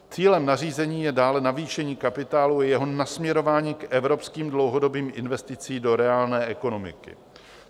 Cílem nařízení je dále navýšení kapitálu i jeho nasměrování k evropským dlouhodobým investicím do reálné ekonomiky."